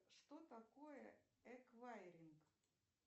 что такое эквайринг